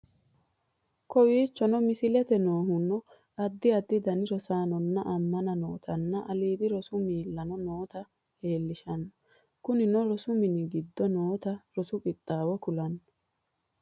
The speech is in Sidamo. Kowichonoo mislette nohunno addi addi danni rosanonna ammana nootanna allidi roosu millano noota lelishshanno kunnino roosu miini giido noota roosu qixxawo kulanno.